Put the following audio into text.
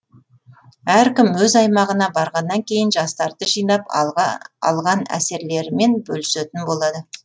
әркім өз аймағына барғаннан кейін жастарды жинап алған әсерлерімен бөлісетін болады